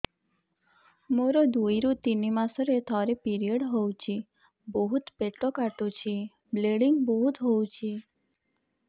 ମୋର ଦୁଇରୁ ତିନି ମାସରେ ଥରେ ପିରିଅଡ଼ ହଉଛି ବହୁତ ପେଟ କାଟୁଛି ବ୍ଲିଡ଼ିଙ୍ଗ ବହୁତ ହଉଛି